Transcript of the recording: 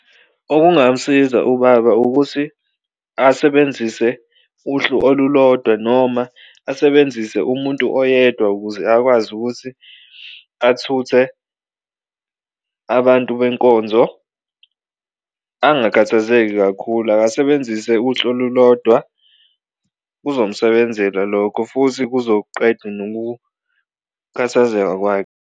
Okungamsiza ubaba ukuthi asebenzise uhlu olulodwa noma asebenzise umuntu oyedwa ukuze akwazi ukuthi athuthe abantu benkonzo angakhathazeki kakhulu, akasebenzise uhlobo olulodwa kuzomsebenzela lokho futhi kuzoqeda nokukhathazeka kwakhe.